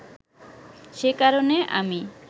সে কারণে আমি